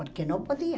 Porque não podia.